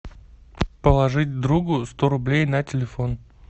положить другу сто рублей на телефон